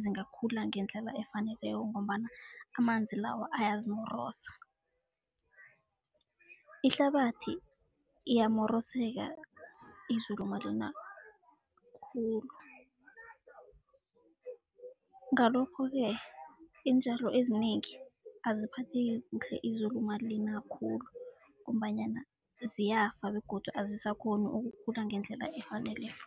zingakhula ngendlela efaneleko ngombana amanzi lawa ayazimorosa. Ihlabathi iyamoroseka izulu malina khulu. Ngalokho-ke iintjalo ezinengi aziphatheki kuhle izulu malina khulu ngombanyana ziyafa begodu azisakhoni ukukhula ngendlela efaneleko.